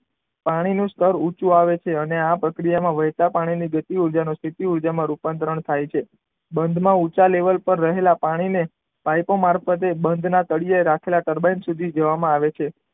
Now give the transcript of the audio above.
પાણીનું સ્તર ઓછું આવે અને આ પ્રક્રિયામાં વહેતા પાણીની ગતિ ઊર્જાનું સ્થિતી ઉર્જામાં રૂપાંતરણ થાય છે. બંધમાં ઊંચા લેવલ પર રહેલા પાણીને પાઇપો મારફતે બંધના તળિયે રાખેલા ટર્બાઇન સુધી લઈ જવામાં આવે છે.